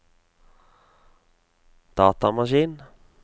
datamaskin